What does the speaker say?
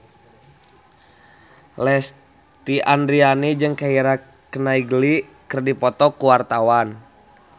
Lesti Andryani jeung Keira Knightley keur dipoto ku wartawan